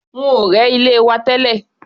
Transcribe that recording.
Wọ́n ò rẹ́ ilé wa tẹ́lẹ̀.